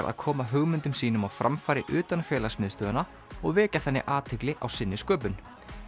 að koma hugmyndum sínum á framfæri utan félagsmiðstöðvanna og vekja þannig athygli á sinni sköpun